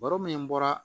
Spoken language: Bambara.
Baro min bɔra